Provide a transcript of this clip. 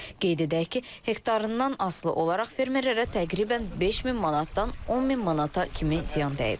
Qeyd edək ki, hektarından asılı olaraq fermerlərə təqribən 5000 manatdan 10000 manata kimi ziyan dəyib.